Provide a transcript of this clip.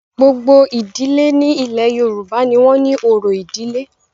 Gbogbo ìdílé ní ilẹ̀ Yorùbá ní wọ́n ni orò ìdílé.